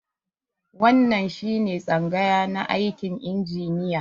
Wannan shi ne tsangaya na aikin injiniya.